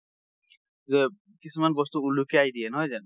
যে কিছুমান বস্তু উলুফিয়াই দিয়ে নহয় জানো।